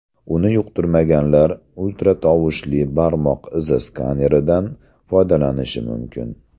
Uni yoqtirmaganlar ultratovushli barmoq izi skaneridan foydalanishi mumkin.